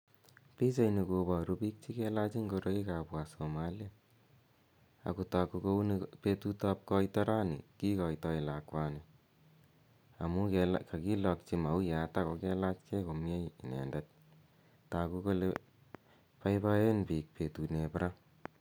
Pichaini koparu pik che kelach ngorok ap Wasomaliek. Ako tagu kouni petut ao koito rani, kikaitai lakwani amu kakilakchi mauyat ako kelachgei komie inendet. Tagu kole poipoen pik petunep ra.